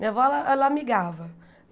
Minha avó ela amigava.